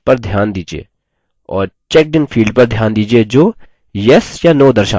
और checkedin field पर ध्यान दीजिये जो yes या no दर्शाता है